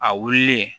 A wulilen